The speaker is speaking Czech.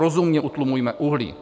Rozumně utlumujme uhlí.